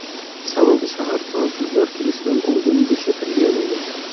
Sababi, shahar fransuzlar kelishidan oldin bo‘shatilgan edi.